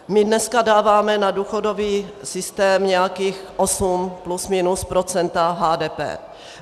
My dneska dáváme na důchodový systém nějakých 8 plus minus procent HDP.